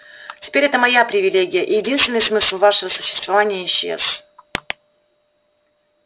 теперь это моя привилегия и единственный смысл вашего существования исчез